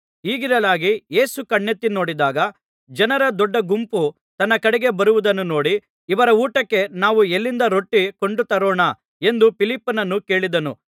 ಹೀಗಿರಲಾಗಿ ಯೇಸು ಕಣ್ಣೆತ್ತಿ ನೋಡಿದಾಗ ಜನರ ದೊಡ್ಡಗುಂಪು ತನ್ನ ಕಡೆಗೆ ಬರುವುದನ್ನು ನೋಡಿ ಇವರ ಊಟಕ್ಕೆ ನಾವು ಎಲ್ಲಿಂದ ರೊಟ್ಟಿ ಕೊಂಡು ತರೋಣ ಎಂದು ಫಿಲಿಪ್ಪನನ್ನು ಕೇಳಿದನು